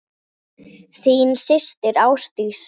Þín systir Ásdís.